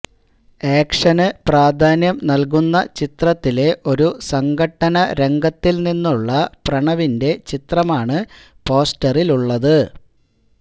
action പ്രാധാന്യം നല്കുന്ന ചിത്രത്തിലെ ഒരു സംഘട്ടന രംഗത്തില് നിന്നുള്ള പ്രണവിന്റെ ചിത്രമാണ് പോസ്റ്ററിലുള്ളത്